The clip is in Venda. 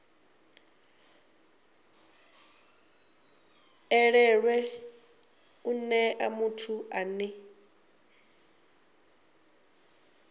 elelwe u nea muthu ane